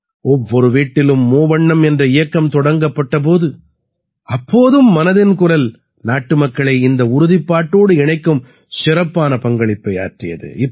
ஒவ்வொரு வீட்டிலும் மூவண்ணம் என்ற இயக்கம் தொடங்கப்பட்ட போது அப்போதும் மனதின் குரல் நாட்டுமக்களை இந்த உறுதிப்பாட்டோடு இணைக்கும் சிறப்பான பங்களிப்பை ஆற்றியது